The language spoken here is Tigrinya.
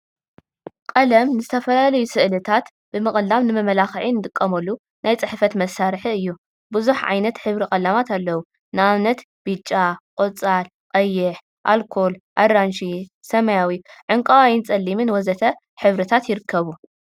ቀለም ንዝተፈላለዩ ስእሊታት ብምቅላም ንመመላክዒ እንጥቀመሉ ናይ ፅሕፈት መሳርሒ እዩ፡፡ ብዙሕ ዓይነት ሕብሪ ቀለማት አለው፡፡ ንአብነት ብጫ፣ ቆፃል፣ ቀይሕ፣ አልኮል፣ አራንሺ፣ ሰማያዊ፣ ዕንቋይን ቀሊምን ወዘተ ሕብሪታት ይርከቡ፡፡